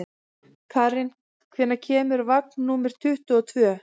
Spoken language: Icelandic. Karen, hvenær kemur vagn númer tuttugu og tvö?